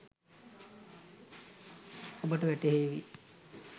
ඔබට වැටහේවි